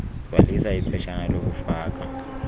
gcwalisa iphetshana lokufaka